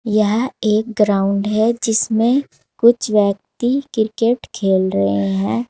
यह एक ग्राउंड है जिसमें कुछ व्यक्ति क्रिकेट खेल रहे हैं।